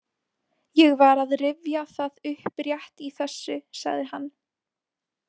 Ég var að rifja það upp rétt í þessu, sagði hann.